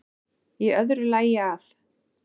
Í öðru lagi að